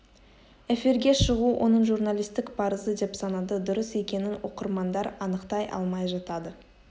эфирге шығу оның журналистік парызы деп санады дұрыс екенін оқырмандар анықтай алмай жатады